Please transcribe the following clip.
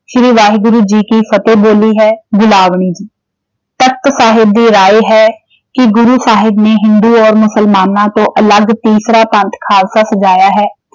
ਸ਼੍ਰੀ ਵਾਹਿਗੁਰੂ ਜੀ ਕਿ ਫਤਿਹ ਬੋਲੀ ਹੈ ਬਿਲਾਵਲੀ ਜੀ ਤਖਤ ਸਾਹਿਬ ਦੀ ਰਾਇ ਹੈ ਕਿ ਗੁਰੂ ਸਾਹਿਬ ਨੇ ਹਿੰਦੂ ਔਰ ਮੁਸਲਮਾਨਾਂ ਤੋਂ ਅਲੱਗ ਤੀਸਰਾ ਪੰਥ ਖਾਲਸਾ ਸਜਾਇਆ ਹੈ।